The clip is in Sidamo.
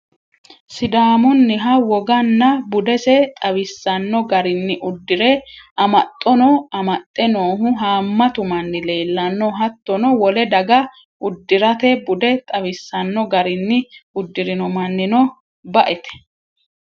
sidaamunniha woganna budese xawisanno garinni uddire amaxxono amaxxe noohu haammatu manni leelanno. hattono wole daga uddirate bude xawisanno garinni uddirino mannino baete.